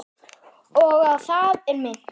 Og á það er minnt.